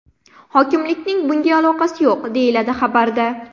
Hokimlikning bunga aloqasi yo‘q”, deyiladi xabarda.